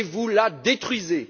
Et vous la détruisez!